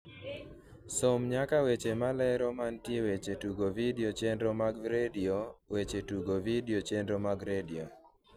som nyaka weche malero mantie weche tugo vidio chenro mag redio weche tugo vidio chenro mag redio